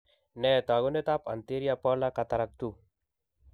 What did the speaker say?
Nee taakunetaab Anterior polar cataract 2?